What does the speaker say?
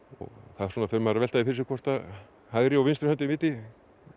þá fer maður að velta fyrir sér hvort að hægri og vinstri höndin viti